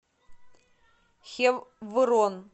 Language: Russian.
хеврон